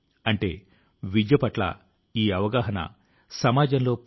అటువంటి వారి లో తెలంగాణ కు చెందిన డాక్టర్ కూరెళ్ల విఠలాచార్య గారు ఒకరు